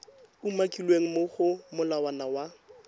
umakilweng mo go molawana wa